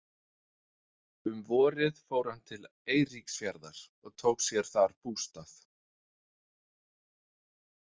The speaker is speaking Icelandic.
Um vorið fór hann til Eiríksfjarðar og tók sér þar bústað.